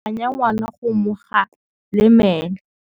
Rre o ne a phanya ngwana go mo galemela.